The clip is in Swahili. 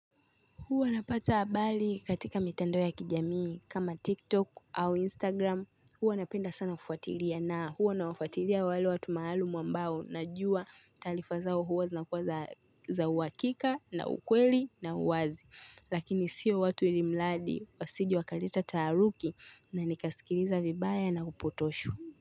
Huwa napata habari katika mitandao ya kijamii kama TikTok au Instagram. Huwa napenda sana kufuatilia na huwa nawafatilia wale watu maalum ambao najua taarifa zao huwa zinakuwa za uwakika na ukweli na uwazi. Lakini siyo watu wenye mradi wasije wakaleta taharuki na nikaskiliza vibaya na kupotoshwa.